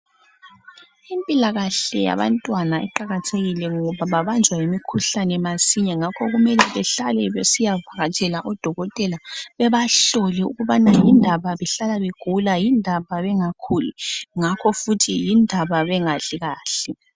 impilakahle yabantwana iqakathekile ngoba babanjwa yimikhuhlane masinya ngakho kumele behlale besiya vakatshela o dokotela bebahlole ukubana yindaba behlalabegula yindaba bengaguli ngakho futhi yindaba bengadli kahle